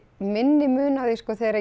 minni mun á því sko þegar